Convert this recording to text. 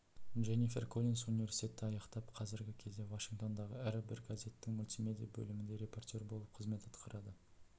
дженнифер коллинс университетті аяқтап қазіргі кезде вашингтондағы ірі бір газеттің мультимедия бөлімінде репортер болып қызмет атқарады